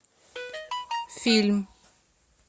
фильм